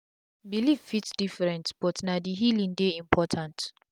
belief fit different but na d healing dey important